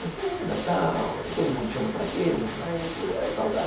Passeia, Natal, aí todo mundo chama para aquilo, chama para isso, ê saudade...